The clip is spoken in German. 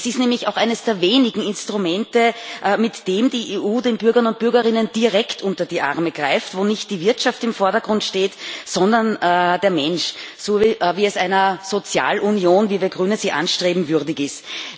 Es ist nämlich auch eines der wenigen Instrumente, mit denen die EU den Bürgern und Bürgerinnen direkt unter die Arme greift, wo nicht die Wirtschaft im Vordergrund steht, sondern der Mensch so wie es einer Sozialunion, wie wir Grüne sie anstreben, würdig ist.